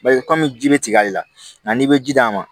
Bari kɔmi ji bɛ tigɛli la nka n'i bɛ ji d'a ma